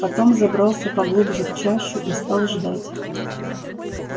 потом забрался поглубже в чащу и стал ждать